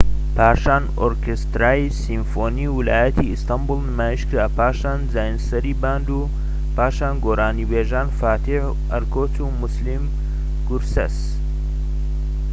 پاشان ئۆرکێسترای سیمفۆنی ویلایەتی ئەستەنبوڵ نمایش کرا پاشان جانیسەری باند و پاشان گۆرانیبێژان فاتح ئەرکۆچ و موسلیم گورسەس